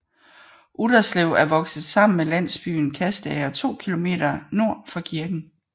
Utterslev er vokset sammen med landsbyen Kastager 2 km nord for kirken